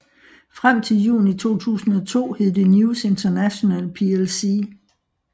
Frem til juni 2002 hed det News International plc